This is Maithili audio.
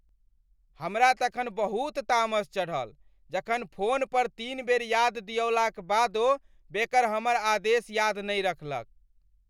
हमरा तखन बहुत तामस चढ़ल जखन फोन पर तीन बेर याद दियौलाक बादो बेकर हमर आदेश याद नहि रखलक।